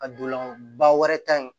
A dolan ba wɛrɛ ta in